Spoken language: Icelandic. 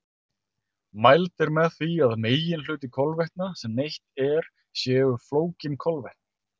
Mælt er með því að meginhluti kolvetna sem neytt er séu flókin kolvetni.